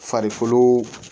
Farikolo